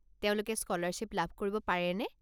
তেওঁলোকে স্কলাৰশ্বিপ লাভ কৰিব পাৰেনে?